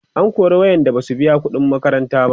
an kora waƴanda Basu biya ƙuɗin makaranta ba